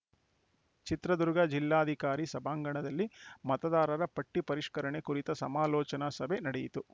ಚಿತ್ರದುರ್ಗ ಜಿಲ್ಲಾಧಿಕಾರಿ ಸಭಾಣಗಣದಲ್ಲಿ ಮತದಾರರ ಪಟ್ಟಿಪರಿಷ್ಕರಣೆ ಕುರಿತ ಸಮಾಲೋಚನಾ ಸಭೆ ನಡೆಯಿತು